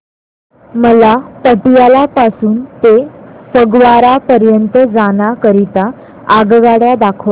मला पटियाला पासून ते फगवारा पर्यंत जाण्या करीता आगगाड्या दाखवा